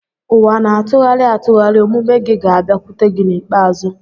Ụwa na-atụgharị atụgharị; omume gị ga-abịakwute gị n'ikpeazụ.